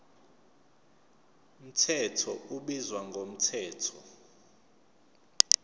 mthetho ubizwa ngomthetho